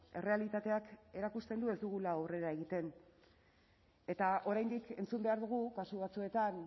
errealitateak erakusten du ez dugula aurrera egiten eta oraindik entzun behar dugu kasu batzuetan